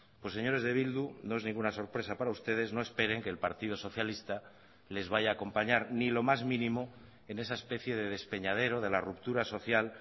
pues señores de bildu no es ninguna sorpresa para ustedes no esperen que el partido socialista les vaya a acompañar ni lo más mínimo en esa especie de despeñadero de la ruptura social